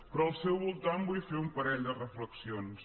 però al seu voltant vull fer un parell de reflexions